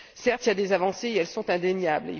Certes, il y a des avancées et elles sont indéniables.